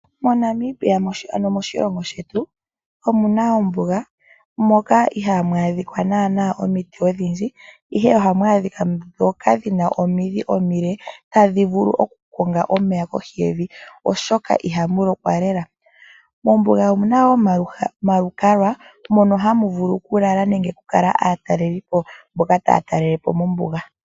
MoNamibia, ano moshilongo shetu omu na ombuga, moka ihaa mu adhika naana omiti odhindji, ihe ohamu adhika omiti ndhoka dhi na omidhi omile tadhi vulu okukonga omeya kohi yevi oshoka i hamu lokwa. Mombuga omu na wo omalukalwa mono hamu vulu okulala nenge okukala aatalelipo mboka taya talele po mombuga.